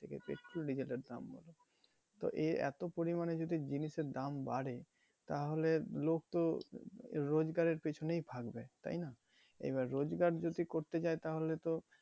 petrol diesel এর দাম বারে তো এত পরিমানে যদি জিনিসের দাম বারে তাহলে লোক তো রোজগারের পেছনেই ভাগবে তাই না। এবার রোজগার যদি করতে চায় তাহলে তো